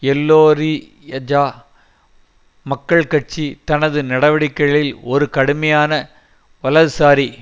எல்லோரி யஜா மக்கள் கட்சி தனது நடவடிக்கைகளில் ஒரு கடுமையான வலதுசாரி